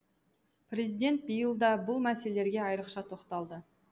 президент биыл да бұл мәселелерге айрықша тоқталды